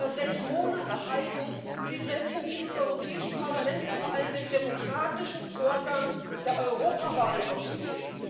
Aber sechs Monate heißen Sie setzen dieses Europäische Parlament und vor allem den demokratischen Vorgang der Europawahlen aufs Spiel.